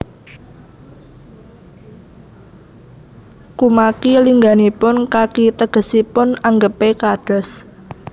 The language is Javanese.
Kumaki lingganipun kaki tegesipun anggepé kados